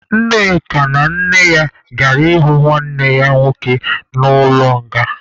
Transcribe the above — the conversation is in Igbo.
Nneka na nne ya gara ịhụ nwanne ya nwoke nọ n'ụlọ nga.